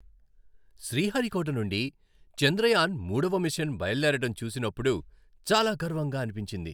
శ్రీహరికోట నుండి చంద్రయాన్ మూడవ మిషన్ బయలుదేరడం చూసినప్పుడు చాలా గర్వంగా అనిపించింది.